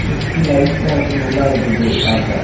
சுத்தி லைட்லாம் வச்சு நல்லா இருக்குது பாக்க.